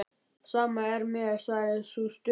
Sama er mér, sagði sú stutta.